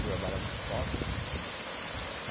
Trabalhava como sócia.